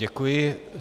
Děkuji.